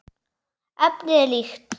Efnið er líkt.